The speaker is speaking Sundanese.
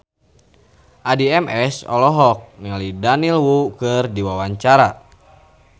Addie MS olohok ningali Daniel Wu keur diwawancara